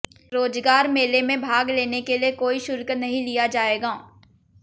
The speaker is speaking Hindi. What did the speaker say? रोजगार मेले में भाग लेने के लिये कोई शुल्क नहीं लिया जायेगा